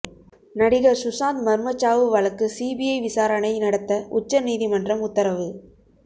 நடிகர் சுஷாந்த் மர்மச்சாவு வழக்கு சிபிஐ விசாரணை நடத்த உச்ச நீதிமன்றம் உத்தரவு